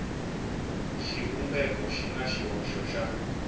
xivumbeko xi na xihoxo xa